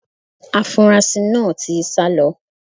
Afunrasí náà ti sá lọ.